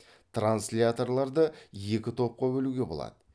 трансляторларды екі топқа бөлуге болады